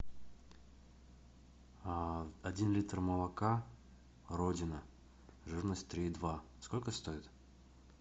один литр молока родина жирность три и два сколько стоит